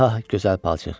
Ah, gözəl palçıq.